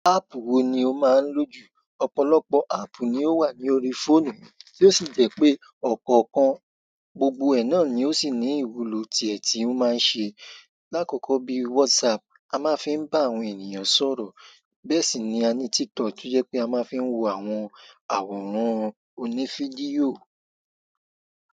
App wo ni o máa nlò jù? Ọ̀pọ̀lọpọ̀ app ni o wa ní orí fóònù mi tí o sì jẹ́ pé ọ̀kọ̀ọ̀kan gbogbo ẹ náà ni ó sì ní ìwúlò tí ẹ tí o máa ń ṣe lakoko bí whatsapp, a máa ń fi bá àwọn ènìyàn sọ̀rọ̀. Bẹ́ẹ̀ sì ni à ní TikTok tí ó jẹ́ pé a máa ń fi wo àwọn àwòrán oní fídíò.